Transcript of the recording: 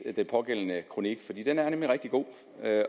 den pågældende kronik for den er nemlig rigtig god